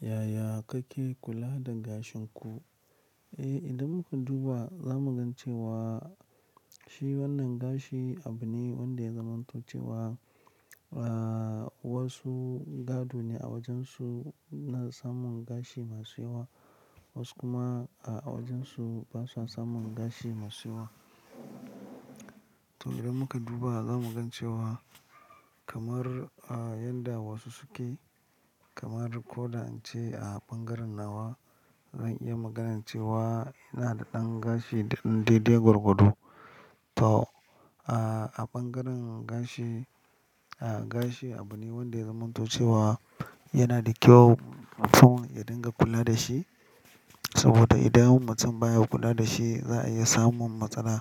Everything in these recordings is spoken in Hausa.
Yaya kake kula da gashin ku? Eh, idan muka duba za mu gan cewa shi wannan gashi abu ne wanda zaman to ce wa, wasu gado ne a wajensu na samun gashi masu yawa, wasu kuma a wajensu basa samun gashi masu yawa. To idan muka duba za mu ga cewa kamar a yadda wasu suke kamar ko da an ce a ɓangaren nawa zan iya maganan ce wa ina da ɗan gashi da ɗan daidai gurgudu. To a, a ɓangaren gashi, a gashi abu ne wanda zaman to ce wa yana da kyau mutum ya dinga kula da shi. Saboda idan mutum baya kula da shi za a iya samun matsala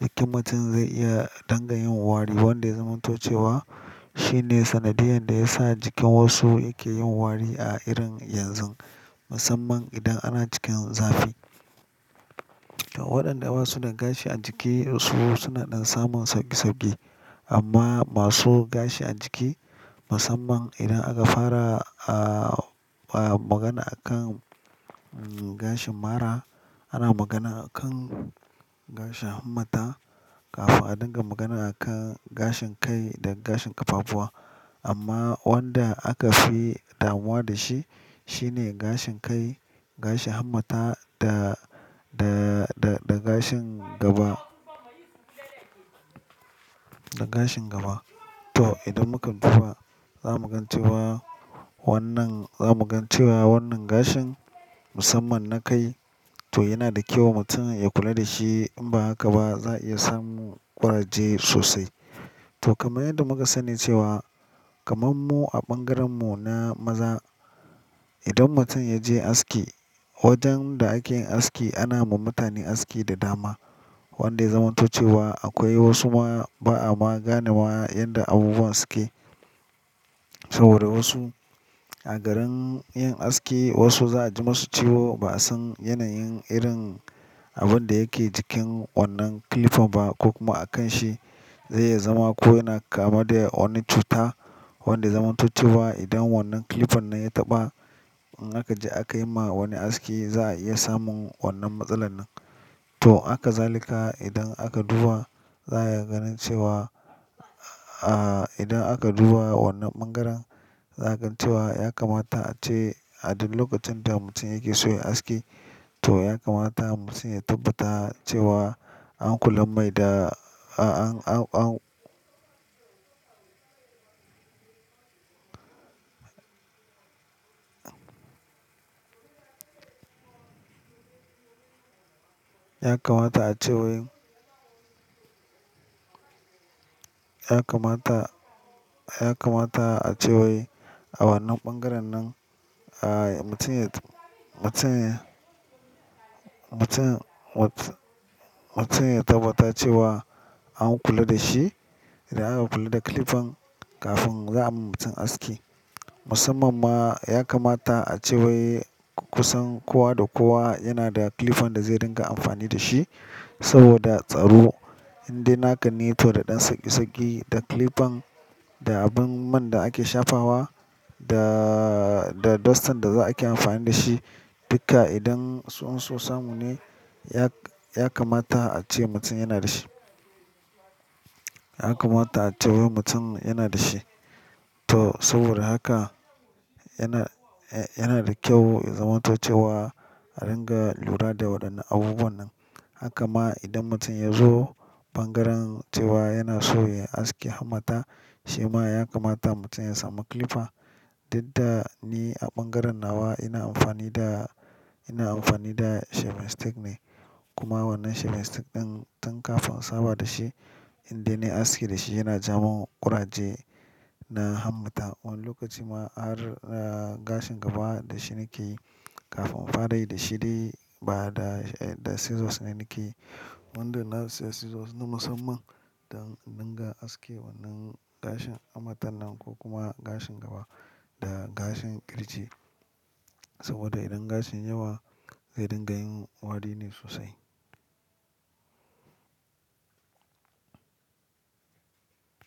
da mutum zai iya dangayin wari wanda zaman toce wa shine sanadiyan da ya sa jikin wasu yake yin wari a irin yanzu, musamman idan ana cikin zafi. To waɗanda basu da gashi a jiki su suna ɗan samun sauki sauki amma masu gashi a jiki musamman idan aka fara a magana akan gashin mara, ana magana akan gashin hammata kafin a dinga magana akan gashin kai da gashin ƙafafuwa. Amma wanda aka fi damuwa da shi shine gashin kai, gashin hammata da gashin gaba, da gashin gaba. To idan muka duba za mu gan cewa wannan za mu gan cewa wannan gashin musamman na kai to yana da kyau mutum ya kula da shi in ba haka ba za a iya samun ƙuraje sosai. To kamar yadda muka sanne cewa kamar mu a ɓangaren mu na maza idan mutum ya je aski wajen da ake yin aski ana ma mutane aski da dama wanda zaman toce wa akwai wasu ma ba'a maganawa yanda abubuwa suke. Saboda wasu a garin yin aski wasu za a ji masu ciwo basu yanayin irin abun da yake cikin wannan clipper ba ko kuma a kan shi zai iya zama ko yana kama da wani cuta wanda zaman to ce wa idan wannan clipper nan ya taɓa in aka je aka yi ma wani aski za a iya samun wannan matsalan. To haka zalika idan aka duba za a iya ganin cewa a idan aka duba wannan ɓangaren za a gan cewa ya kamata ace a duk lokacin da mutum yake so ya yi aski to ya kamata mutum ya tabbata cewa an kula mai da an Ya kamata a ce wai ya kamata, ya kamata a ce wai a wannan ɓangaren nan a mutum ya, mutum mutum ya tabbatar cewa an kula da shi idan aka kula da clipper kafin za a ma mutum aski. Musamman ma ya kamata a ce wai kusan kowa da kowa yana da clipper da zai dinga amfani da shi saboda tsaro indai naka ne tohda ɗan saki saki da clipper da abin man da ake shafawa da da dustan da za a ke amfani da shi. Dukka idan sun so samu ne ya kamata a ce mutum yana da shi. Ya kamata a ce wai mutum yana da shi. To saboda haka yana yana da kyau ya zaman toh ce wa a dinga lura da waɗannan abubuwan nan. Haka ma idan mutum ya zo ɓangaren cewa yana so ya yi aski hammata, sai ma ya kamata mutum ya samu clipper. Duk da ni a ɓangaren nawa ina amfani da, ina amfani da sheving stick ne. Kuma wannan shevestake ɗin tun kafin saba da shi indai na yi aski da shi yana jawo min ƙuraje na hammata. Wani lokaci ma har gashin gaba da shi nake yi kafin in fara yi da shi dai ba da scissors ne nake yi. Wanda na siya scissors na musamman don in dinga aske wannan gashin hammata nan ko kuma gashin gaba da gashin ƙirji. Saboda idan gashin yawa zai dinga yin wari ne sosai.